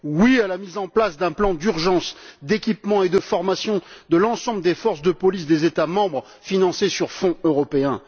Oui à la mise en place d'un plan d'urgence d'équipement et de formation de l'ensemble des forces de police des États membres financés à partir de fonds européens.